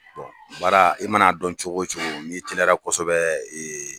baara i mana dɔn cogo o cogo n'i teliyara kosɛbɛ